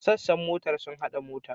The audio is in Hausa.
Sassan motar sun hada mota.